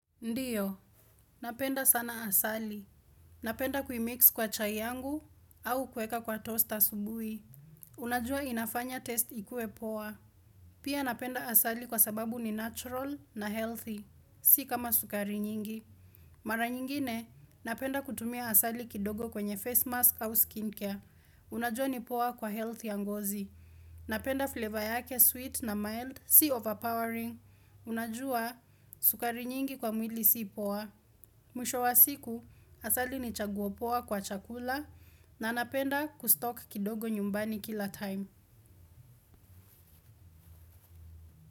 Ndiyo, napenda sana asali. Napenda kui-mix kwa chai yangu au kuweka kwa toast asubuhi. Unajua inafanya taste ikue poa. Pia napenda asali kwa sababu ni natural na healthy, si kama sukari nyingi. Mara nyingine, napenda kutumia asali kidogo kwenye face mask au skin care. Unajua ni poa kwa health ya ngozi. Napenda flavor yake sweet na mild, si overpowering. Unajua sukari nyingi kwa mwili si poa. Mwisho wa siku, asali ni chaguo poa kwa chakula na nanapenda kustok kidogo nyumbani kila time.